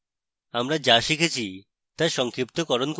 আমরা যা শিখেছি তা সংক্ষিপ্তকরণ করি